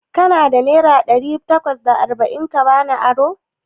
Kana da naira ɗari takwas da arba'in ka bani aro?